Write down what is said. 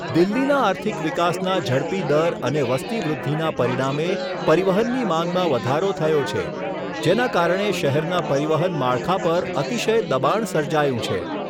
દિલ્હીના આર્થિક વિકાસના ઝડપી દર અને વસ્તી વૃદ્ધિના પરિણામે પરિવહનની માંગમાં વધારો થયો છે, જેના કારણે શહેરના પરિવહન માળખા પર અતિશય દબાણ સર્જાયું છે.